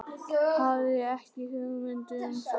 Hafði ekki hugmynd um það.